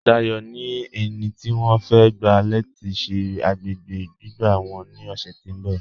Dáyọ̀ ni ènì tí wọ́n fẹ̀ gba lati ṣẹ̀ agbègbè gbígbà wọ́n ni ọṣẹ̀ tó nbọ̀.